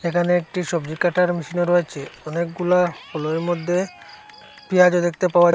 এখানে একটি সবজি কাটার মেশিনও রয়েছে অনেকগুলা কলাই মধ্যে পেয়াজ দেখতে পাওয়ার--